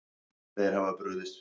Þeir hafa brugðist því.